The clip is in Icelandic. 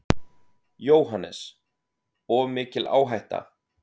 JÓHANNES: Of mikil áhætta.